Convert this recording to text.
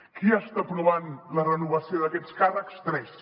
qui està aprovant la renovació d’aquests càrrecs tres